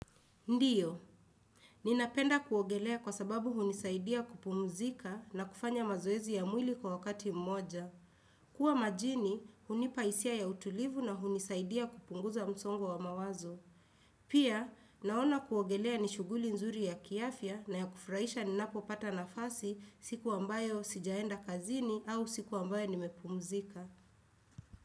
Ndiyo, ninapenda kuogelea kwa sababu hunisaidia kupumuzika na kufanya mazoezi ya mwili kwa wakati mmoja. Kuwa majini, hunipa hisia ya utulivu na hunisaidia kupunguza msongo wa mawazo. Pia, naona kuogelea ni shughuli nzuri ya kiafya na ya kufurahisha ninapopata nafasi siku ambayo sijaenda kazini au siku ambayo nimepumzika.